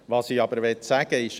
Was ich aber sagen will: